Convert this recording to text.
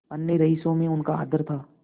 अन्य रईसों में उनका आदर था